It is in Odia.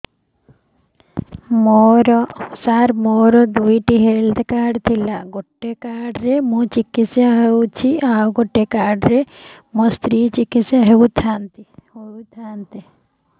ସାର ମୋର ଦୁଇଟି ହେଲ୍ଥ କାର୍ଡ ଥିଲା ଗୋଟେ କାର୍ଡ ରେ ମୁଁ ଚିକିତ୍ସା ହେଉଛି ଆଉ ଗୋଟେ କାର୍ଡ ରେ ମୋ ସ୍ତ୍ରୀ ଚିକିତ୍ସା ହୋଇଥାନ୍ତେ